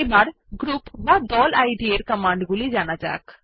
এখন group ID এর command গুলি জানা যাক